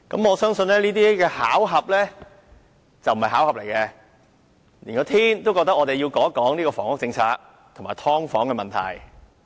我相信這並非巧合，而是上天也認為我們要談談房屋政策和"劏房"問題。